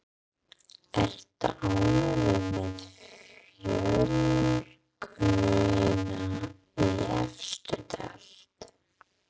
Ertu ánægður með fjölgunina í efstu deild?